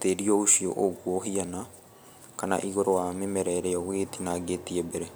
tĩri ũcio ũgũo ũhiana kana igũrũ wa mĩmera ĩrĩa ũgũgĩtinagĩtie mbere.